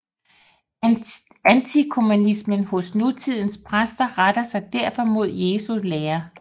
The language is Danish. Antikommunismen hos nutidens præster retter sig derfor mod Jesu lære